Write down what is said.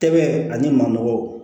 Tɛgɛ ani maaw